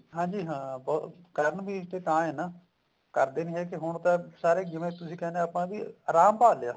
ਹਾਂਜੀ ਹਾਂ ਕਰਨਗੇ ਇਸ ਚ ਤਾਂ ਹੈ ਨਾ ਕਰਦੇ ਨੀ ਹੈਗੇ ਹੁਣ ਤਾਂ ਸਰੇ ਜਿਵੇਂ ਤੁਸੀਂ ਕਹਿਨੇ ਹੋ ਵੀ ਆਪਾਂ ਵੀ ਆਰਾਮ ਭਾਲ ਲਿਆ